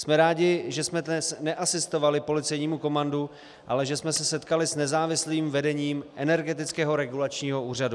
Jsme rádi, že jsme dnes neasistovali policejnímu komandu, ale že jsme se setkali s nezávislým vedením Energetického regulačního úřadu.